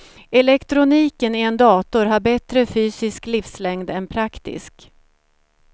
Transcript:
Elektroniken i en dator har bättre fysisk livslängd än praktisk.